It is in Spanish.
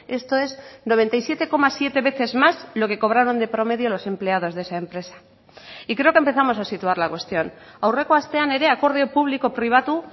esto es noventa y siete coma siete veces más lo que cobraron de promedio los empleados de esa empresa y creo que empezamos a situar la cuestión aurreko astean ere akordio publiko pribatu